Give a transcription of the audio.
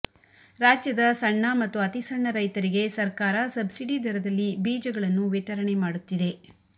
ರಾಜ್ಯದ ಸಣ್ಣ ಮತ್ತು ಅತಿಸಣ್ಣ ರೈತರಿಗೆ ಸರ್ಕಾರ ಸಬ್ಸಿಡಿ ದರದಲ್ಲಿ ಬೀಜ ಗಳನ್ನು ವಿತರಣೆ ಮಾಡುತ್ತಿದೆ